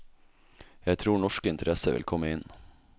Jeg tror norske interesser vil komme inn.